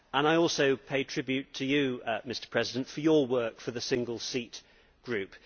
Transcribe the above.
I also pay tribute to you, Mr President, for your work for the single seat group.